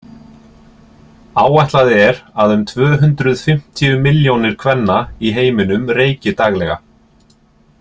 Áætlað er að um tvö hundruð fimmtíu milljónir kvenna í heiminum reyki daglega.